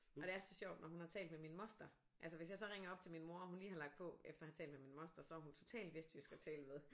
Og det er så sjovt når hun har talt med min moster altså hvis jeg så ringer op til min mor og hun lige har lagt på efter at have talt med min moster så er hun totalt vestjysk at tale med